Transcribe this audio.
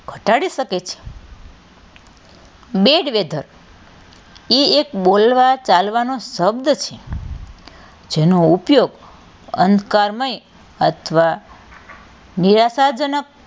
ઘટાડી શકે છે બે જ weather એ એક બોલવા ચાલવાનો શબ્દ છે જેનો ઉપયોગ અંધકારમય અથવા નિરાશાજનક,